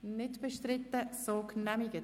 wir stimmen darüber ab.